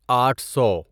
آٹھ سو